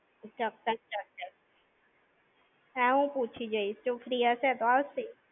ચોક્કસ-ચોક્કસ. હા હું પૂછી જોઇ, જો free હશે તો આવશે.